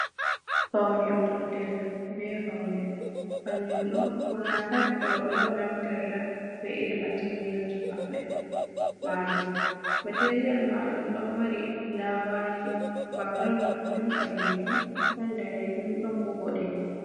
Paune, gudel be paune, kanjum ɗo ɓurna pat rooɓe on naftirta be irin materiyalji maɓɓe majum, materiyal majum ɗon mari fulawaaji bakgirawun majum ɓaleejum ɗon daneejum ɗon bo boɗeejum.